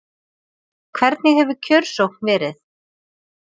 Hvernig hefur kjörsókn verið?